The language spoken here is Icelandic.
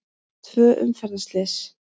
Tvö umferðarslys